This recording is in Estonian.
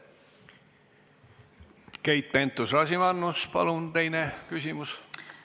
Keit Pentus-Rosimannus, palun teine küsimus!